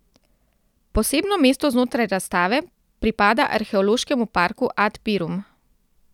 Posebno mesto znotraj razstave pripada Arheološkemu parku Ad Pirum.